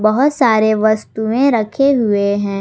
बहुत सारे वस्तुएं रखे हुए हैं।